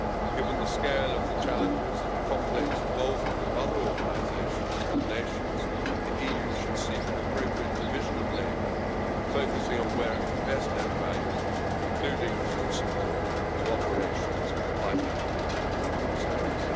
Given the scale of the challenges and the complex involvement of other organisations and nations, the EU should seek an appropriate division of labour, focusing on where it can best add value, including through support to operations by individual Member States.